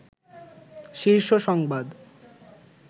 শীর্ষ সংবাদ